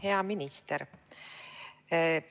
Hea minister!